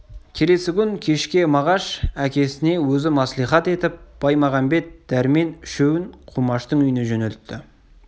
келесі күн кешке мағаш әкесіне өзі мәслихат етіп баймағамбет дәрмен үшеуін құмаштың үйіне жөнелтті